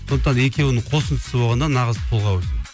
сондықтан екеуінің қосындысы болғанда нағыз тұлға өседі